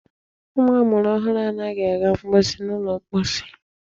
Ụmụ amụrụ ọhụrụ anaghị aga mposi n'ụlọ mposi.